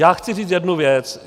Já chci říct jednu věc.